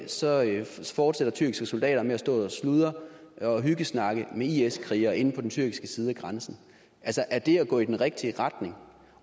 så fortsætter tyrkiske soldater med at stå og sludre og hyggesnakke med is krigere inde på den tyrkiske side af grænsen altså er det at gå i den rigtige retning